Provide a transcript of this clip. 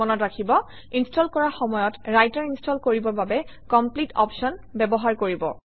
মনত ৰাখিব ইনষ্টল কৰাৰ সময়ত ৰাইটাৰ ইনষ্টল কৰিবৰ বাবে কমপ্লিট অপশ্যন ব্যৱহাৰ কৰিব